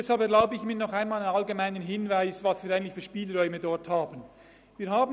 Deshalb erlaube ich mir einen allgemeinen Hinweis darauf, welche Spielräume wir hier überhaupt haben.